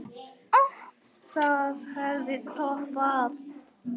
Það hefði toppað allt.